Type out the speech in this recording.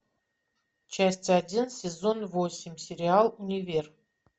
часть один сезон восемь сериал универ